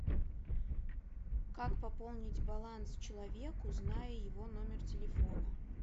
как пополнить баланс человеку зная его номер телефона